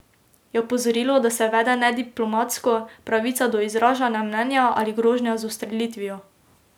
Je opozorilo, da se vede nediplomatsko, pravica do izražanja mnenja ali grožnja z ustrelitvijo?